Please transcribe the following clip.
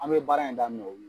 An bɛ baara in daminɛ olu